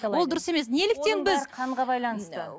ол дұрыс емес неліктен біз қанға байланысты